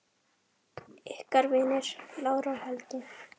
Ykkar vinir, Lára og Helgi.